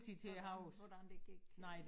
Hvordan hvordan det gik øh